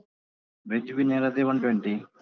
Veg biryani ಆದ್ರೆ one twenty.